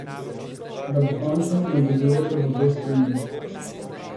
Ta bo končna in obvezujoča za obe strani.